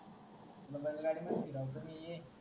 तू ला जायला गाडी नव्हती काढतो मी ये